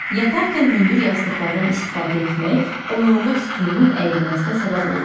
Yatarkən hündür yastıqlardan istifadə etmək onurğa sütununun əyilməsinə səbəb olur.